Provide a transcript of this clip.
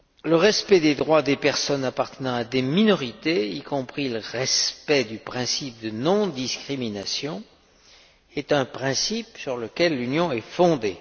Le respect des droits des personnes appartenant à des minorités, y compris le respect du principe de non discrimination, est un principe sur lequel l'Union est fondée.